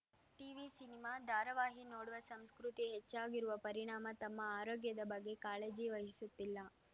TV ಸಿನಿಮಾ ಧಾರವಾಹಿ ನೋಡುವ ಸಂಸ್ಕೃತಿ ಹೆಚ್ಚಾಗಿರುವ ಪರಿಣಾಮ ತಮ್ಮ ಆರೋಗ್ಯದ ಬಗ್ಗೆ ಕಾಳಜಿ ವಹಿಸುತ್ತಿಲ್ಲ